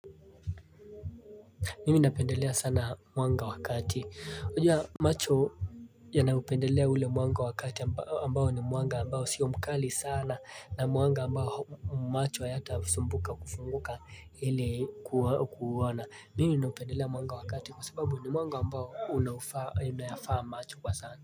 Mimi napendelea sana mwanga wakati. Wajua macho yanapendelea ule mwanga wa kati ambao ni mwanga ambao sio mkali sana na mwanga ambao macho hayatasumbuka kufunguka ile kuona. Mimi napendelea mwanga wabkati kwa sababu ni mwanga ambao unayafaa macho kwa sana.